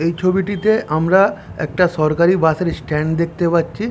এই ছবিটিতে আমরা একটা সরকারি বাস এর স্ট্যান্ড দেখতে পাচ্ছি--